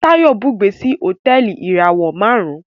Tayo bùgbé sí Hotẹẹli ìràwọ márùn